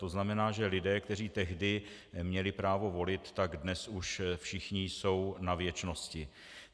To znamená, že lidé, kteří tehdy měli právo volit, tak dnes už všichni jsou na věčnosti.